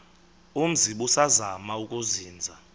umzi ubusazema ukuzinza